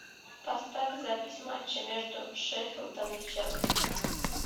поставь запись матча между шеффилдом и челси